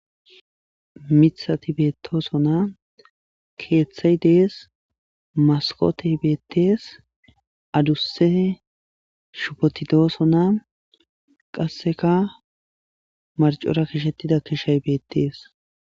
Mitha tibetooso naa keeththay dees maskote beettees adusse shupotidooso naa qasseka marcora kishettida kishay beettees.